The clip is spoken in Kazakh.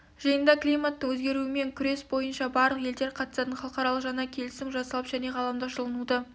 жиында климаттың өзгеруімен күрес бойынша барлық елдер қатысатын халықаралық жаңа келісім жасалып және ғаламдық жылынуды